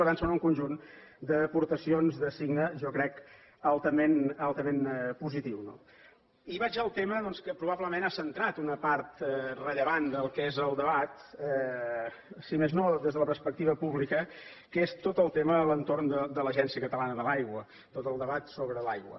per tant són un conjunt d’aportacions de signe jo ho crec altament positiu no i vaig al tema doncs que probablement ha centrat una part rellevant del que és el debat si més no des de la perspectiva pública que és tot el tema a l’entorn de l’agència catalana de l’aigua tot el debat sobre l’aigua